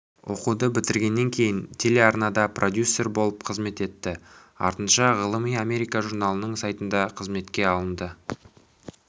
оқуды бітіргеннен кейін телеарнада продюссер болып қызмет етті артынша ғылыми америка журналының сайтына қызметке алынды